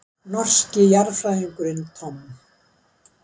Norski jarðfræðingurinn Tom.